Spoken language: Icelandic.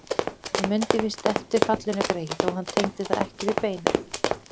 Hann mundi víst vel eftir fallinu greyið, þó hann tengdi það ekki við beinið.